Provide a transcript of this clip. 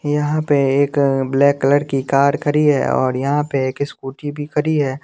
यहां पे एक ब्लैक कलर की कार खड़ी है और यहां पे एक स्कूटी भी खड़ी है।